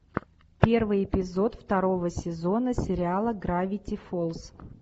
первый эпизод второго сезона сериала гравити фолз